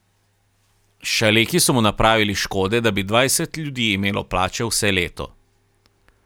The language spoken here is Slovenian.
Šaleki so mu napravili škode, da bi dvajset ljudi imelo plačo vse leto.